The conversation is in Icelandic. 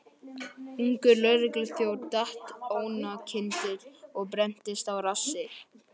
Ungur lögregluþjónn datt oná kyndil og brenndist á rassi.